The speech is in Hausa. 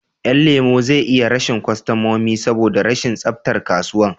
Yan lemo zai iya rashin kostamomi saboda rashin tsaftar kasuwan